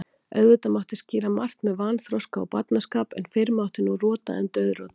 Auðvitað mátti skýra margt með vanþroska og barnaskap, en fyrr mátti nú rota en dauðrota.